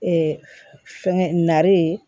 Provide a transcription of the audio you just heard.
fɛngɛ nare